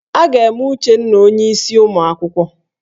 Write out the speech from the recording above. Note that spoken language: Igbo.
A ga-eme Uchenna onyeisi ụmụ akwụkwọ